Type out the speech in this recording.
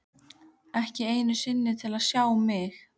Ekki einu sinni til að sjá mig.